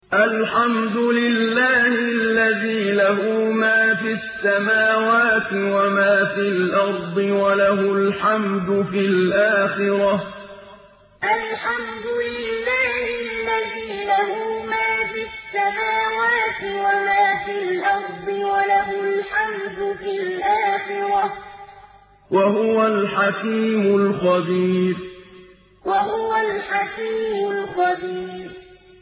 الْحَمْدُ لِلَّهِ الَّذِي لَهُ مَا فِي السَّمَاوَاتِ وَمَا فِي الْأَرْضِ وَلَهُ الْحَمْدُ فِي الْآخِرَةِ ۚ وَهُوَ الْحَكِيمُ الْخَبِيرُ الْحَمْدُ لِلَّهِ الَّذِي لَهُ مَا فِي السَّمَاوَاتِ وَمَا فِي الْأَرْضِ وَلَهُ الْحَمْدُ فِي الْآخِرَةِ ۚ وَهُوَ الْحَكِيمُ الْخَبِيرُ